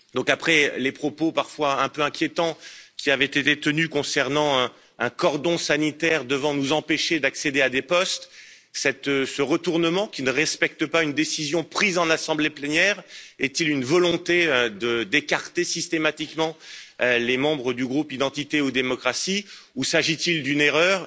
Après les propos parfois un peu inquiétants qui avaient été tenus concernant un cordon sanitaire devant nous empêcher d'accéder à des postes, ce retournement, qui ne respecte pas une décision prise en assemblée plénière, est il une volonté d'écarter systématiquement les membres du groupe Identité et Démocratie, ou s'agit il d'une erreur?